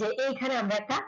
যে এই খানে আমারা একটা